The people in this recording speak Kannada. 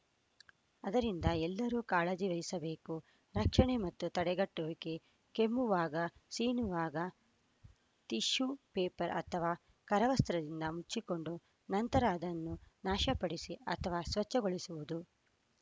ಅದ್ದರಿಂದ ಎಲ್ಲರೂ ಕಾಳಜಿ ವಹಿಸಬೇಕು ರಕ್ಷಣೆ ಮತ್ತು ತಡೆಗಟ್ಟುವಿಕೆ ಕೆಮ್ಮುವಾಗ ಸೀನುವಾಗ ಟಿಶ್ಯೂ ಪೇಪರ್‌ ಅಥವಾ ಕರವಸ್ತ್ರದಿಂದ ಮುಚ್ಚಿಕೊಂಡು ನಂತರ ಅದನ್ನು ನಾಶಪಡಿಸಿ ಅಥವಾ ಸ್ವಚ್ಛಗೊಳಿಸುವುದು